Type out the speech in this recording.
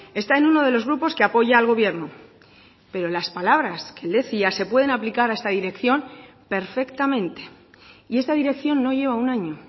está en uno de los grupos que apoya al gobierno pero las palabras que él decía se pueden aplicar a esta dirección perfectamente y esta dirección no lleva un año